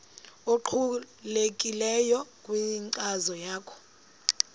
obuqhelekileyo kwinkcazo yakho